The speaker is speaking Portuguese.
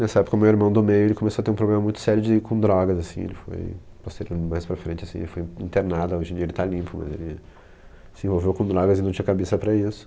Nessa época o meu irmão do meio, ele começou a ter um problema muito sério de com drogas, assim, ele foi, posteriormente, mais para frente, assim, foi internado, hoje em dia ele está limpo, mas ele se envolveu com drogas e não tinha cabeça para isso.